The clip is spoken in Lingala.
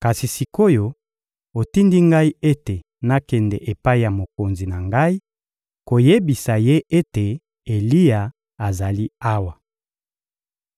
Kasi sik’oyo otindi ngai ete nakende epai ya mokonzi na ngai koyebisa ye ete Eliya azali awa.